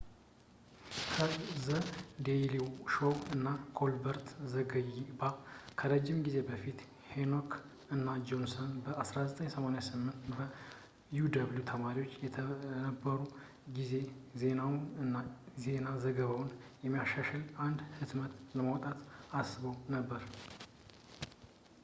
ከ ዘ ዴይሊ ሾው እና ኮልበርት ዘገባ ከረጅም ጊዜ በፊት ፣ ሄክ እና ጆንሰን በ 1988 በ uw ተማሪዎች በነበሩበት ጊዜ ዜናውን እና የዜና ዘገባውን የሚያሻሽል አንድ ህትመት ለማውጣት አስበውበት ነበር